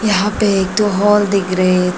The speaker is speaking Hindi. यहां पे एक दो हॉल दिख रहे थे।